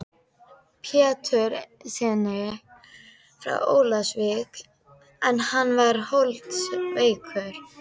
Péturssyni frá Ólafsvík en hann var holdsveikur.